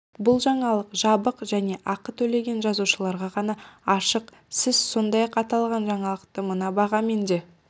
бұл жаңалық жабық және ақы төлеген жазылушыларға ғана ашық сіз сондай-ақ аталған жаңалықты мына бағамен де